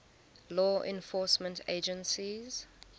law enforcement agencies